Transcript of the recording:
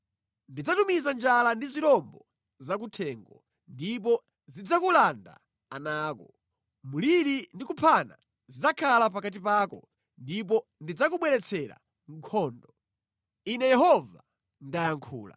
Ndidzatumiza njala ndi zirombo za kuthengo, ndipo zidzakulanda ana ako. Mliri ndi kuphana zidzakhala pakati pako, ndipo ndidzakubweretsera nkhondo. Ine Yehova ndayankhula.”